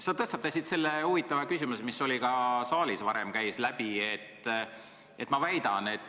Sa tõstatasid selle huvitava küsimuse, mis ka saalist varem läbi käis.